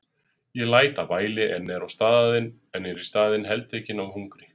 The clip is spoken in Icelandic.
Ég læt af væli en er í staðinn heltekinn af hungri.